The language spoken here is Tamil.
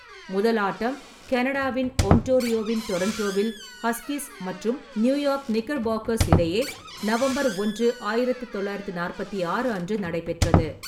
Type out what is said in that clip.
முதல் ஆட்டம் கனடாவின் ஒன்டாரியோவின் டொரன்டோவில் ஹஸ்கிஸ் மற்றும் நியூயார்க் நிக்கர் பாக்கர்ஸ் இடையே நவம்பர் ஒன்று, ஆயிரத்து தொள்ளாயிரத்து நாற்பத்தி ஆறு அன்று நடைபெற்றது.